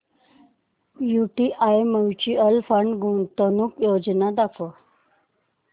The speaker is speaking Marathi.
यूटीआय म्यूचुअल फंड गुंतवणूक योजना दाखव